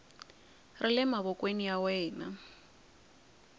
ri le mavokweni ya wena